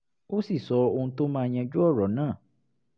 ó sì sọ ohun tó máa yanjú ọ̀rọ̀ náà